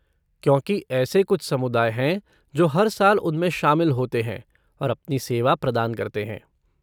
क्योंकि ऐसे कुछ समुदाय हैं जो हर साल उनमें शामिल होते हैं, और अपनी सेवा प्रदान करते हैं।